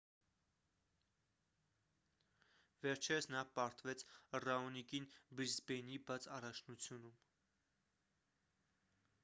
վերջերս նա պարտվեց ռաոնիկին բրիսբեյնի բաց առաջնությունում